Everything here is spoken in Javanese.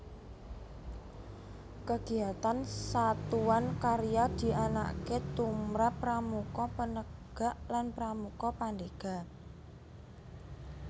Kegiatan Satuan Karya dianakake tumrap Pramuka Penegak lan Pramuka Pandega